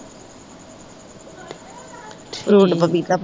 fruit ਪਪੀਤਾ